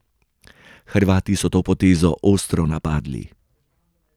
Hrvati so to potezo ostro napadli.